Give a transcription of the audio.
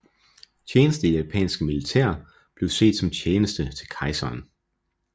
Tjeneste i det japanske militær blev set som tjeneste til kejseren